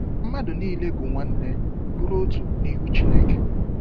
mmadụ niile bụ nwanne, bụrụ otu n'ihu Chineke.